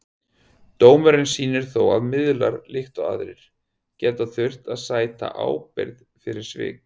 Dómurinn sýnir þó að miðlar, líkt og aðrir, geta þurft að sæta ábyrgð fyrir svik.